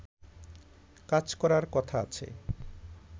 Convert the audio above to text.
কাজ করার কথা আছে